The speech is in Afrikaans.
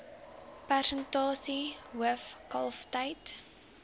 persentasie hoof kalftyd